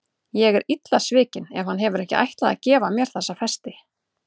Ég er illa svikin ef hann hefur ekki ætlað að gefa mér þessa festi.